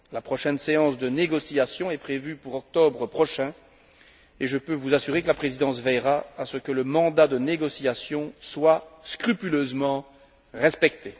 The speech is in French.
La prochaine séance de négociation est prévue pour octobre prochain et je peux vous assurer que la Présidence veillera à ce que le mandat de négociation soit scrupuleusement respecté.